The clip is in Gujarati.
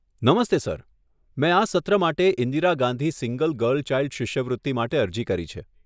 નમસ્તે સર, મેં આ સત્ર માટે Indira Gandhi single girl child શિષ્યવૃત્તિ માટે અરજી કરી છે.